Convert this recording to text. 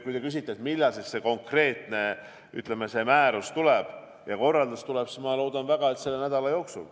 Kui te küsite, millal siis see konkreetne määrus ja korraldus tuleb, siis ma loodan väga, et selle nädala jooksul.